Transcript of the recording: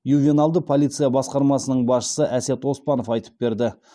ювеналды полиция басқармасының басшысы әсет оспанов айтып берді